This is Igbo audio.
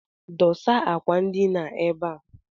Dosa akwandina ebe a!